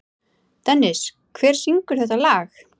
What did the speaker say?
Dennis, hver syngur þetta lag?